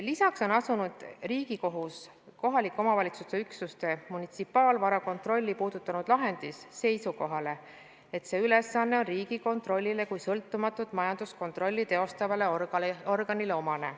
Lisaks on asunud Riigikohus kohalike omavalitsuste üksuste munitsipaalvara kontrolli puudutanud lahendis seisukohale, et see ülesanne on Riigikontrollile kui sõltumatut majanduskontrolli teostavale organile omane.